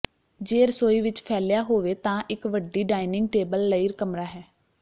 ਜੇ ਰਸੋਈ ਵਿਚ ਫੈਲਿਆ ਹੋਵੇ ਤਾਂ ਇਕ ਵੱਡੀ ਡਾਇਨਿੰਗ ਟੇਬਲ ਲਈ ਕਮਰਾ ਹੈ